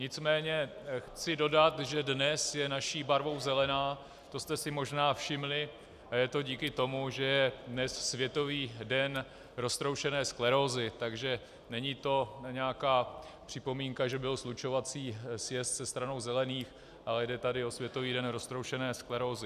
Nicméně chci dodat, že dnes je naší barvou zelená, to jste si možná všimli, a je to díky tomu, že je dnes Světový den roztroušené sklerózy, takže není to nějaká připomínka, že byl slučovací sjezd se Stranou zelených, ale jde tu o Světový den roztroušené sklerózy.